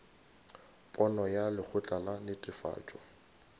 pono ya lekgotla la netefatšo